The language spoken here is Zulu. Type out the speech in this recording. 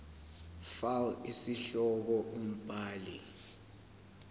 fal isihloko umbhali